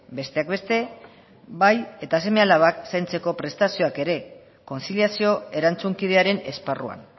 besteak beste bai eta seme alabak zaintzeko prestazioak ere kontziliazio erantzunkidearen esparruan